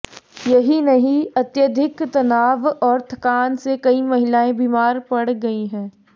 यही नही अत्यधिक तनाव और थकान से कई महिलाएं बीमार पड़ गयी हैं